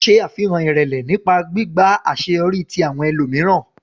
Ṣe afihan irẹlẹ nipa gbigba awọn aṣeyọri ti awọn ẹlomiran.